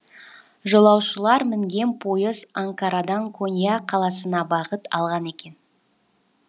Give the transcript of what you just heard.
жолаушылар мінген пойыз анкарадан конья қаласына бағыт алған екен